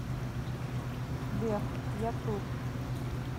сбер я тут